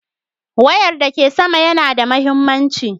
Wayar da ke sama yana da mahimmanci.